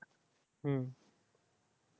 হম